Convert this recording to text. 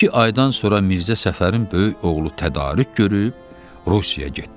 İki aydan sonra Mirzə Səfərin böyük oğlu tədarük görüb Rusiyaya getdi.